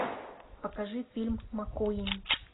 покажи фильм маккуин